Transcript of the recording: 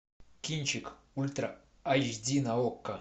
кинчик ультра айч ди на окко